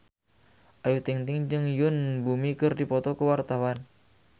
Ayu Ting-ting jeung Yoon Bomi keur dipoto ku wartawan